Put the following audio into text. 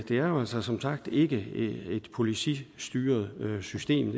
er jo altså som sagt ikke et politistyret system